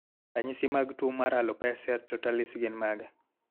Ranyisi mag tuwo mar Alopecia totalis gin mage?